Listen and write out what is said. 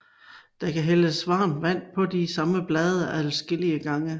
Der kan hældes varmt vand på de samme blade adskillige gange